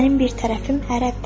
Mənim bir tərəfim ərəbdir.